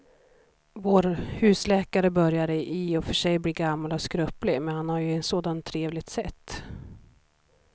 Vår husläkare börjar i och för sig bli gammal och skröplig, men han har ju ett sådant trevligt sätt!